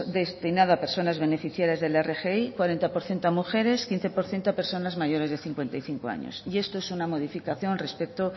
destinada a personas beneficiadas de la rgi cuarenta por ciento a mujeres quince por ciento a personas mayores de cincuenta y cinco años y esto es una modificación respecto